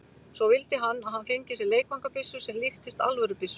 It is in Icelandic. Svo vildi hann að hann fengi sér leikfangabyssu sem líktist alvörubyssu.